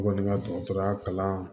N kɔni ka dɔgɔtɔrɔya kalan